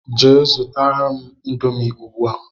Jee zụtara mụ índomi ugbua!!